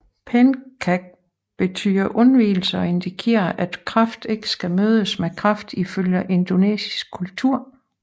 Pençak betyder undvigelser og indikerer at kraft ikke skal mødes med kraft ifølge indonesisk kultur